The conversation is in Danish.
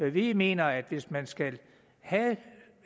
vi mener at hvis man skal have